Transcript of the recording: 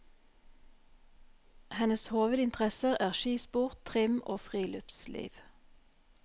Hennes hovedinteresser er skisport, trim og friluftsliv.